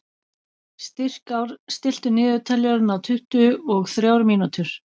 Styrkár, stilltu niðurteljara á tuttugu og þrjár mínútur.